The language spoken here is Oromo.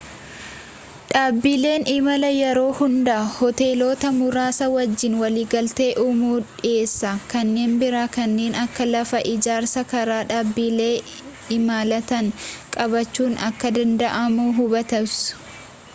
dhaabbileen imalaa yeroo hunda hoteelota muraasa wajjiin waliigaltee uumu dhiheessa kanneen biraa kanneen akka lafa ijaarsaa karaa dhaabbilee imalaatiin qabachuun akka danda'amu hubattus